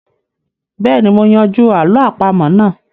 Bẹ́ẹ̀ni, mo yanjú àlọ́ àpamọ́ náà